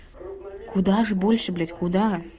куда же больше блять куда